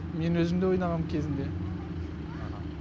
мен өзім де ойнағам кезінде